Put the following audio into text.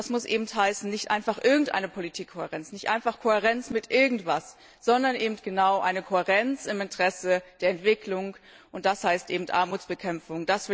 Das muss heißen, nicht einfach irgendeine Politikkohärenz, nicht einfach Kohärenz mit irgendetwas, sondern eine Kohärenz im Interesse der Entwicklung, und das heißt Armutsbekämpfung.